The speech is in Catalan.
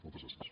moltes gràcies